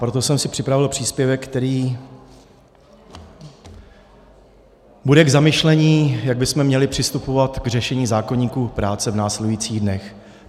Proto jsem si připravil příspěvek, který bude k zamyšlení, jak bychom měli přistupovat k řešení zákoníku práce v následujících dnech.